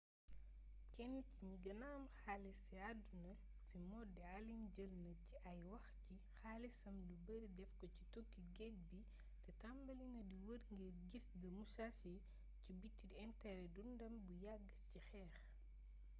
ken ci gni guena am xaalis ci aduna si modi allen jeulna ci ay waax ci xaalissam lu beurri defko ci touki guedj bi té tambalina di weur ngir guiss the musashi ci biti interé dundam bu yagg ci xeex